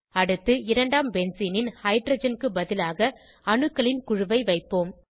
அடுத்து இரண்டாம் பென்சீனின் ஹைட்ரஜன் க்கு பதிலாக அணுக்களின் குழுவை வைப்போம்